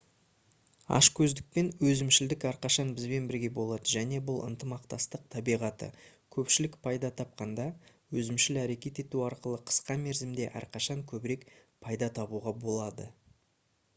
ашкөздік пен өзімшілдік әрқашан бізбен бірге болады және бұл ынтымақтастық табиғаты көпшілік пайда тапқанда өзімшіл әрекет ету арқылы қысқа мерзімде әрқашан көбірек пайда табуға болады